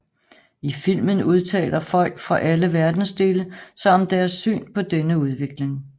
I filmen udtaler folk fra alle verdensdele sig om deres syn på denne udvikling